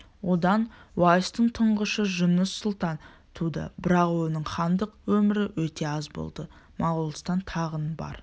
одан уайстың тұңғышы жұныс сұлтан туды бірақ оның хандық өмірі өте аз болды моғолстан тағын бар